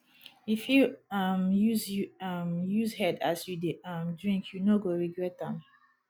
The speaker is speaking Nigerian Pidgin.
if you um use you um use head as you dey um drink you no go regret am